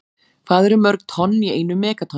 Hvað eru mörg tonn í einu megatonni?